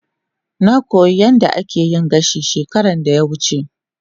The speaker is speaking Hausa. Na koyi yadda ake yin gashi shekaran da ya wuce.